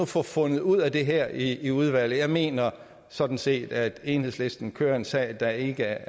få fundet ud af det her i udvalget jeg mener sådan set at enhedslisten kører en sag der ikke